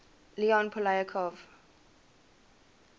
leon poliakov